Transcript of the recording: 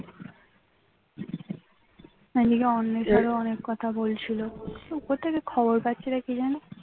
এইদিকে অন্বেষা অনেক কথা বলছিল উপর থেকে খবর পাচ্ছিল নাকি কে জানে